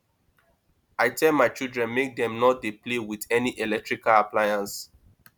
i tell my children make dem no dey play with any electrical appliance